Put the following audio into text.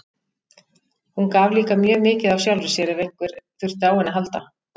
Hún gaf líka mjög mikið af sjálfri sér, ef einhver þurfti á henni að halda.